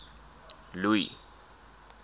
louis